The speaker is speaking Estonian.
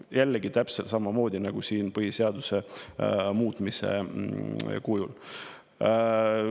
Jällegi täpselt samamoodi nagu siin põhiseaduse muutmise kujul.